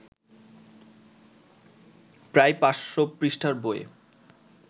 প্রায় ৫০০ পৃষ্ঠার বইয়ে